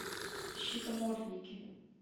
щитомордники